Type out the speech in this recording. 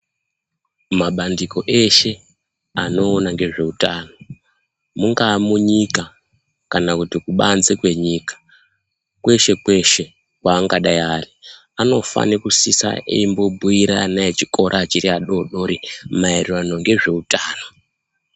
Mabandiko eshe anoona ngezveutano mungaa munyika kana kuti kubanze kwenyika, kweshe-kweshe kweangadai ari, anofane kusisa eimbobhuyire ana echikora achiri adodori, maererano ngezveutano.